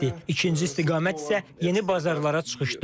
İkinci istiqamət isə yeni bazarlara çıxışdır.